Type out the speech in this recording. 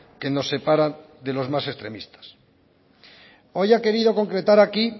que nos separan de los más extremistas hoy ha querido concretar aquí